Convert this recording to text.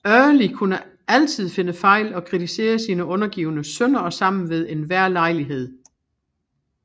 Early kunne altid finde fejl og kritiserede sine undergivne sønder og sammen ved enhver lejlighed